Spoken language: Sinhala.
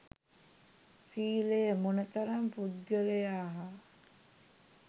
සීලය මොන තරම් පුද්ගලයා හා